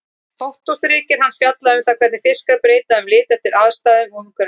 Doktorsritgerð hans fjallaði um það hvernig fiskar breyta um lit eftir aðstæðum og umhverfi.